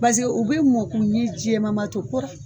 Paseke u bɛ mɔn kuni jɛ mamato